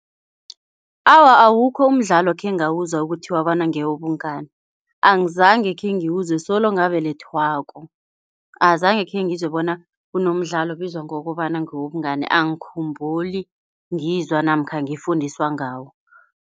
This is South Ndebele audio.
Awa, awukho umdlalo khengawuzwa ukuthiwa bona ngewobungani. Angizange khengiwuzwe solo ngakabelethwako, angizange khengizwe bona kunomdlalo obizwa ngokobana ngewobungani angikhumbuli ngizwa namkha ngifundiswa ngawo.